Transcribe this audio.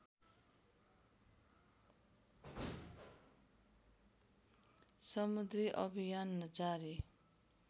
समुद्री अभियान जारी